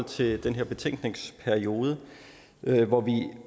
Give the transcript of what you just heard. til den her betænkningsperiode hvor vi